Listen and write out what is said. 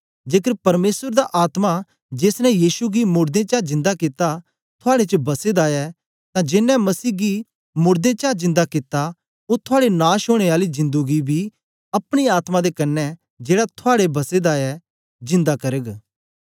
जेकर परमेसर दा आत्मा जेस ने यीशु गी मोड़दें चा जिन्दा कित्ता थुआड़े च बसे दा ऐ तां जेनें मसीह गी मोड़दें चा जिन्दा कित्ता ओ थुआड़े नाश ओनें आली जिंदु गी बी अपने आत्मा दे क्न्ने जेड़ा थुआड़े बसे दा ऐ जिन्दा करग